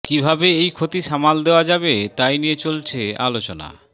কীভাবে এই ক্ষতি সামাল দেওয়া যাবে তাই নিয়ে চলছে আলোচনা